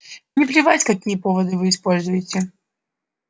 мне плевать какие поводы вы используете